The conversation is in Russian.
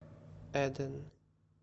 эден